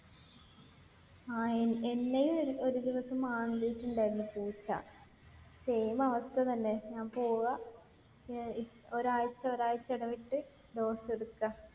ആഹ് എന്നെയും ഒരു ദിവസം മാന്തിയിട്ടുണ്ടായിരുന്നു പൂച്ച. same അവസ്ഥ തന്നെ. ഞാൻ പോവാ. ഏർ ഒരാഴ്ച ഒരാഴ്ച ഇടവിട്ട് dose എടുക്ക.